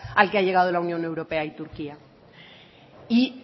al que ha llegado la unión europea y turquía y